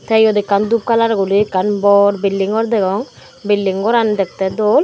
te eyot ekkan dub kalar guri ekkan bor belding gor degong bilding goran dekte dol.